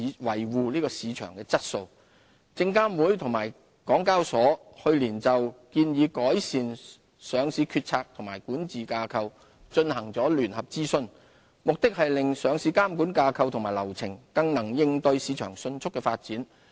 證券及期貨事務監察委員會及香港交易所去年就"建議改善上市決策及管治架構"進行聯合諮詢，目的是令上市監管架構及流程更能應對市場迅速的發展。